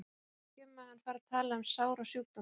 Ég kæri mig ekki um að hann fari að tala um sár og sjúkdóma.